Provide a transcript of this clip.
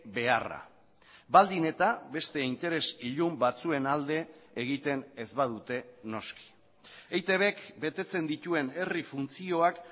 beharra baldin eta beste interes ilun batzuen alde egiten ez badute noski eitbk betetzen dituen herri funtzioak